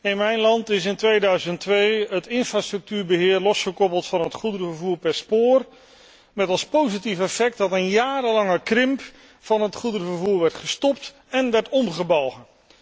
In mijn land is in 2002 het infrastructuurbeheer losgekoppeld van het goederenvervoer per spoor met als positief effect dat een jarenlange krimp van het goederenvervoer werd gestopt en omgebogen.